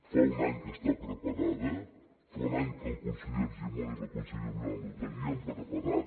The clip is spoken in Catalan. fa un any que està preparada fa un any que el conseller argimon i la consellera violant ho tenien preparat